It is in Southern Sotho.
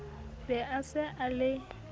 be a se a le